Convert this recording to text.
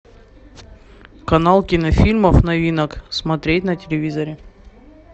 канал кинофильмов новинок смотреть на телевизоре